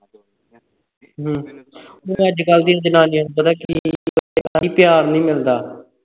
ਹੂ ਅੱਜ-ਕੱਲ੍ਹ ਦੀਆਂ ਜਨਾਨੀਆਂ ਨੂੰ ਪਤਾ ਕੀ ਹੈ ਪਿਆਰ ਨਹੀਂ ਮਿਲਦਾ